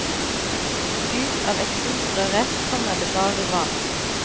Ut av eksosrøret kommer det bare vann.